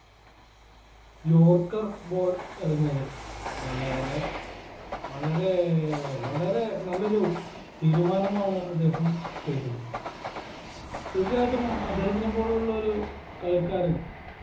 yorker ball എറിഞ്ഞത് വളരെ വളരെ വളരെ നല്ലൊരു തീരുമാനമാണ് അദ്ദേഹം ചെയ്തത് തീർച്ചയായിട്ടും അദ്ദേഹത്തിനെപോലുള്ള ഒരു കളിക്കാരൻ